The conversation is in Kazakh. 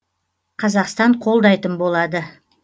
қазақстан қолдайтын болады